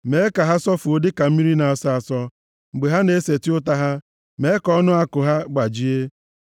Mee ka ha sọfuo dịka mmiri na-asọ asọ; mgbe ha na-eseti ụta ha, mee ka ọnụ àkụ ha gbajie.